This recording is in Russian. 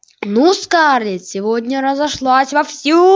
ну скарлетт сегодня разошлась вовсю